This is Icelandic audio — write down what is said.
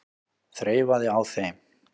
Þreifaði á þeim.